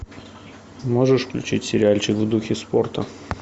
можешь включить сериальчик в духе спорта